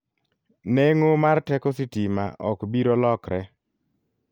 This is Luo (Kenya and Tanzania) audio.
Neng'o mar teko sitima ok biro lokre.